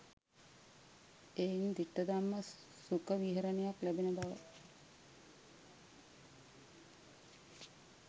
එයින් දිට්ඨධම්ම සුඛ විහරණයක් ලැබෙන බව